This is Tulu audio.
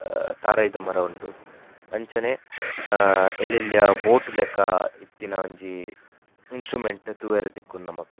ಆ ತಾರಾಯಿದ ಮರ ಉಂಡು ಅಂಚನೆ ಆ ಎಲ್ಲೆಲ್ಲ್ಯ ಬೋಟ್ ಲೆಕ್ಕ ಇತ್ತಿನ ಒಂಜಿ ಇನ್ಸ್ ಸ್ಟ್ರುಮೆಂಟ್ ನು ತೂವರೆ ತಿಕ್ಕುಂಡು ನಮಕ್.